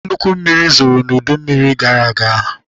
Nnukwu mmiri zoro n'udu mmiri gara aga.